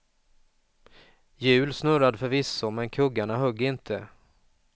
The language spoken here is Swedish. Hjul snurrade förvisso, men kuggarna högg inte.